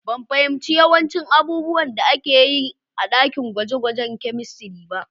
Ban fahimci yawancin abubuwan da aka yi a ɗakin gwaje-gwajen kamistri ba.